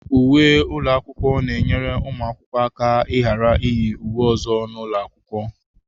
Uwe ụlọ akwụkwọ na-enyere ụmụ akwụkwọ aka ịghara iyi uwe ọzọ n'ụlọ akwụkwọ.